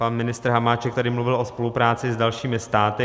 Pan ministr Hamáček tady mluvil o spolupráci s dalšími státy.